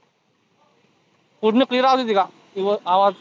पुर्ण clear आवाज येतोय का? वि आवाज